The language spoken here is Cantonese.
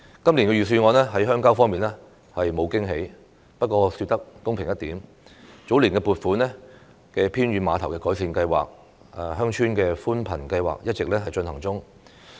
今年預算案在鄉郊方面沒有驚喜，不過說得公平一點，早年撥款的偏遠碼頭改善計劃、鄉村寬頻計劃一直進行中。